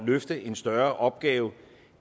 løfte en større opgave